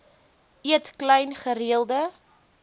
eet klein gereelde